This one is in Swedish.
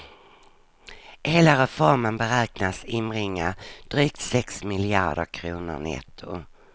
Hela reformen beräknas inbringa drygt sex miljarder kronor netto.